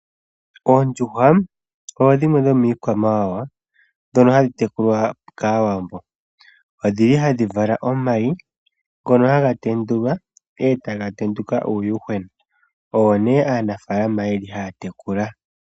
Oondjuhwa odho dhimwe dhomiikwamawawa mbyono hayi tekulwa kAawambo. Odhi li hadhi vala omayi, ngono haga tendulwa e ta ga tenduka uuyuhwena, owo nee aanafaalama ye li ha ya tekula.